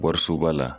Warisoba la